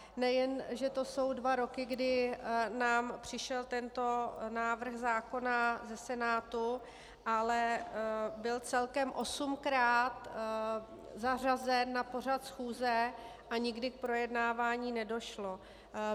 Nejen že to jsou dva roky, kdy nám přišel tento návrh zákona ze Senátu, ale byl celkem osmkrát zařazen na pořad schůze a nikdy k projednávání nedošlo.